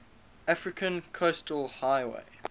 african coastal highway